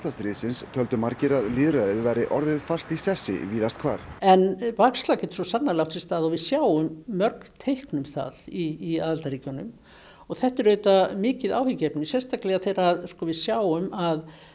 stríðsins töldu margir að lýðræðið væri orðið fast í sessi víðast hvar en bakslag getur svo sannarlega átt sér stað og við sjáum mörg teikn um það í aðildarríkjunum og þetta er auðvitað mikið áhyggjuefni sérstaklega þegar við sjáum að